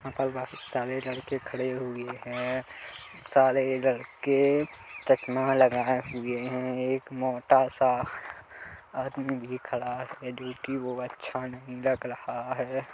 यहाँ पर बहोत सारे लड़के खड़े हुए है सारे लड़के चश्मा लगाए हुए है एक मोटा सा आदमी भी खड़ा रहा है जो कि वो अच्छा नहीं लग रहा है।